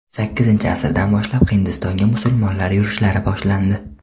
Sakkizinchi asrdan boshlab Hindistonga musulmonlar yurishlari boshlandi.